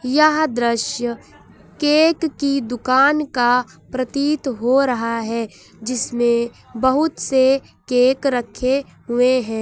यह दृश्य केक की दुकान का प्रतीत हो रहा है जिसमें बहुत से केक रखे हुए हैं।